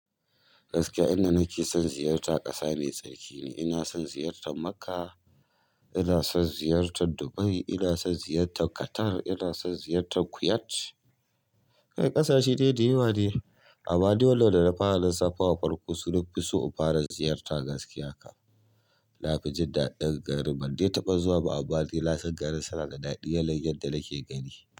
Gaskiya inda nake son ziyarta ƙasa mai tsarki ne. Ina son ziyartar Makkah, ina son ziyartar Dubai, ina son ziyartar Qatar, ina son ziyartar Kuwait. Kai ƙasashe dai da yawa dai. Amma ni wannan da na fara safa wa farko su nafi so in fara ziyarta gaskiya kan. Nafi jin daɗin garin, ban dai taɓa zuwa ba amma ni na san garin suna da daɗi yanayin da nake gani.